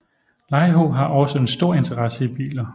Laiho har også en stor interesse i biler